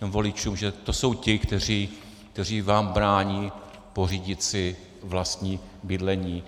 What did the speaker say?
voličům, že to jsou ti, kteří vám brání pořídit si vlastní bydlení.